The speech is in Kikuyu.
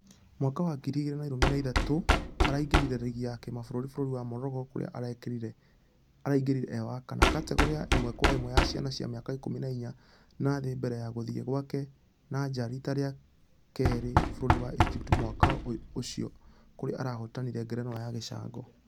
Mwaka wa ngiri igĩrĩ na ilũmi na ithathatũ araingĩrire rigi ya kĩmabũrũri bũrũri wa Morocco kũrĩa ararekirie ĩĩ wa kana. Kategore ya ĩmwe kwa ĩmwe ya ciana cia mĩaka ikũmi na inya na thĩ mbere ya gũthie gwake na nja rita rĩa kerĩ bũrũri wa egypt mwaka ũũ ũcio kũrĩ arahotanire ngerenwa ya gĩcango...